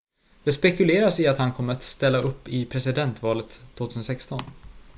det spekuleras i att han kommer ställa upp i presidentvalet 2016